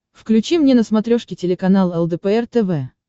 включи мне на смотрешке телеканал лдпр тв